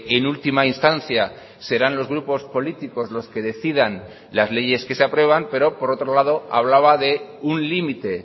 en última instancia serán los grupos políticos los que decidan las leyes que se aprueban pero por otro lado hablaba de un límite